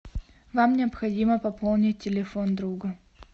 вам необходимо пополнить телефон друга